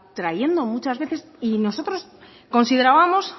trayendo muchas veces y nosotros considerábamos